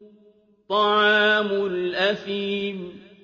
طَعَامُ الْأَثِيمِ